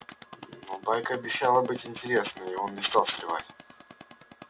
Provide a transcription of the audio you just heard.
но байка обещала быть интересной и он не стал встревать